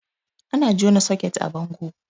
Ana jona soket a bango